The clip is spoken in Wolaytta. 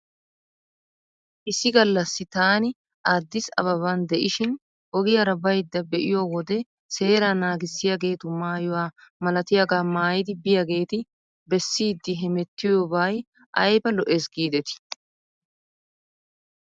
Issi gallassi taani addis abbaban de'ishshin ogiyaara baydda be'iyoo wode seeraa naagissiyaageetu maayuwaa malatiyaagaa maayidi biyaageeti bessiiddi hemettiyooba ayba lo'es giidetii?